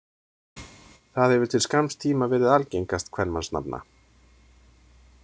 Það hefur til skamms tíma verið algengast kvenmannsnafna.